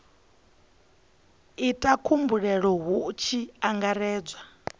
ita khumbelo hu tshi angaredzwa